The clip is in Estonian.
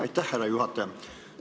Aitäh, härra juhataja!